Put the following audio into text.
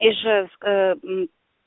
ижевск